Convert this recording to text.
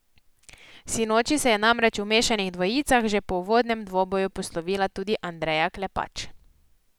Sinoči se je namreč v mešanih dvojicah že po uvodnem dvoboju poslovila tudi Andreja Klepač.